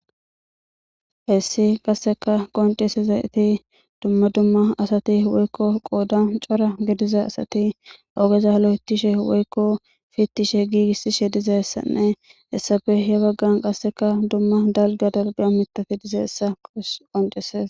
Haysi qaseka qoncisidayti dumma dumma asati woyko qodan cora gidiza asati ogeza lo'ethishe woyko pitishe giigisishe dizaysanne hesappe he bagan qaseka dumma dalga dalga mithati dizysa qoncises